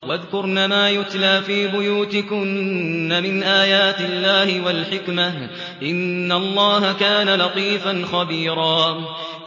وَاذْكُرْنَ مَا يُتْلَىٰ فِي بُيُوتِكُنَّ مِنْ آيَاتِ اللَّهِ وَالْحِكْمَةِ ۚ إِنَّ اللَّهَ كَانَ لَطِيفًا خَبِيرًا